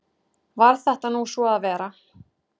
Varð þetta nú svo að vera.